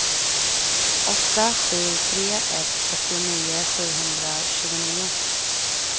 åtta sju tre ett fyrtionio sjuhundratjugonio